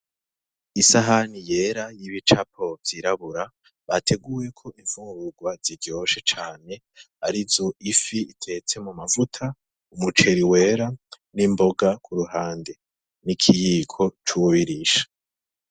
Isahani yera y'ibicapo vy'irabura bateguyeko imfungurwa ziryoshe cane, arizo ifi itetse mu mavuta, umuceri wera n'imboga kuruhande, n'ikiyiko cuwubirisha.